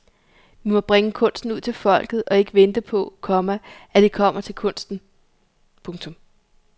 Vi må bringe kunsten ud til folket og ikke vente på, komma at det kommer til kunsten. punktum